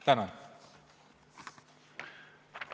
Tänan!